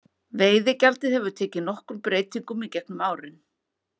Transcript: Veiðigjaldið hefur tekið nokkrum breytingum í gegnum árin.